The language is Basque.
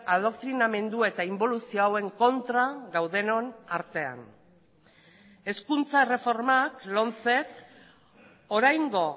adoktrinamendu eta inboluzio hauen kontra gaudenon artean hezkuntza erreformak lomcek oraingo